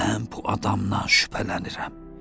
Mən bu adamdan şübhələnirəm.